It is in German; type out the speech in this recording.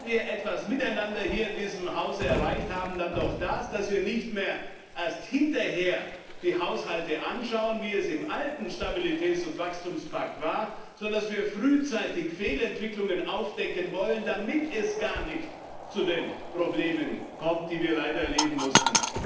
Wenn wir etwas miteinander hier in diesem Hause erreicht haben, dann doch das, dass wir nicht mehr erst hinterher die Haushalte anschauen, wie es im alten Stabilitäts und Wachstumspakt war, sondern dass wir frühzeitig Fehlentwicklungen aufdecken wollen, damit es gar nicht zu den Problemen kommt, die wir leider erleben mussten.